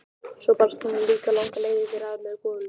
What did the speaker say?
Svo barst hann líka langar leiðir að með golunni.